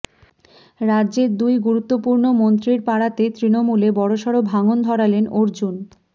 রাজ্যের দুই গুরুত্বপূর্ণ মন্ত্রীর পাড়াতে তৃণমূলে বড়সড় ভাঙন ধরালেন অর্জুন